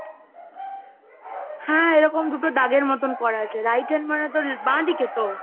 হ্যাঁ এরকম দুটো দাগের মতন করা আছে, Right hand মানে তো, বাঁদিকে তো?